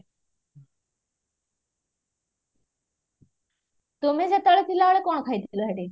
ତୁମେ ସେତେବେଳେ ଥିଲାବେଳେ କଣ ଖାଇଥିଲା ସେଠି